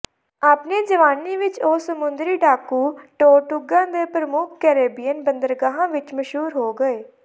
ਆਪਣੀ ਜਵਾਨੀ ਵਿਚ ਉਹ ਸਮੁੰਦਰੀ ਡਾਕੂ ਟੋਰਟੁਗਾ ਦੇ ਪ੍ਰਮੁੱਖ ਕੈਰੇਬੀਅਨ ਬੰਦਰਗਾਹ ਵਿਚ ਮਸ਼ਹੂਰ ਹੋ ਗਏ